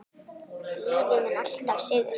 Lífið mun alltaf sigra.